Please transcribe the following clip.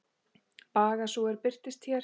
Baga sú er birtist hér.